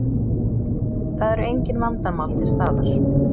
Það eru engin vandamál til staðar